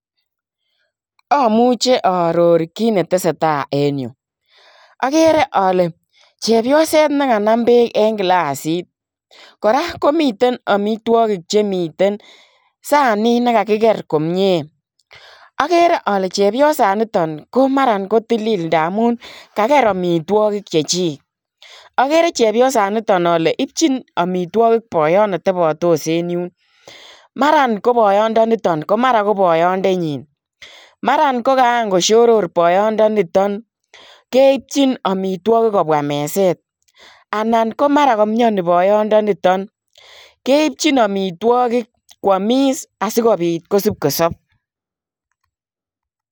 Amuchei aaoror kiit ne tesetai en Yuu agere ale chepyoseet nekanam beek en glassiit kora komiteen amitwagiik chemiten saniit nekakiger komyei agere ale chepyosaan nitoon ko mara ko tilil ndamuun kager amitwagiik chechig agere chepyosaan nitoon kole ipchiin boyoot be tabatos en yuun mara ko boyoot nitoon ko boyoondenyiin mara ko kaan ko shoror boyondenition keipchiin amitwagiik kobwaah mezeet Anan mara kamiani boyondenition keipchiin amitwagiik asikosipkosoop.